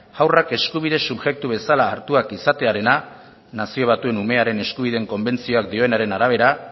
haurrak eskubide subjektu bezala hartuak izatearena nazio batuen umearen eskubideen konbentzioak dionaren arabera